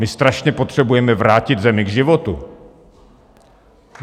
My strašně potřebujeme vrátit zemi k životu.